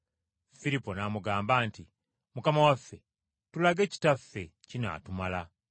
Firipo n’amugamba nti, “Mukama waffe, tulage Kitaffe, kinaatumala.”